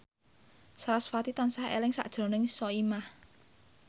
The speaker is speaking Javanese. sarasvati tansah eling sakjroning Soimah